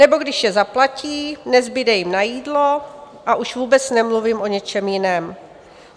Nebo když je zaplatí, nezbude jim na jídlo, a už vůbec nemluvím o něčem jiném.